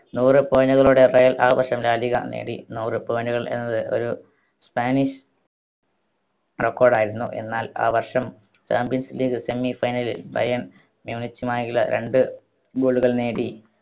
നൂറ് point കളോടെ Real ആ വർഷം ലാ ലീഗ നേടി. നൂറ് point കൾ എന്നത് ഒരു spanish record യിരുന്നു. എന്നാൽ ആ വർഷം champions league semi final ൽ ബയേൺ മ്യൂണിച്ചുമായി ര~രണ്ട് goal കൾ നേടി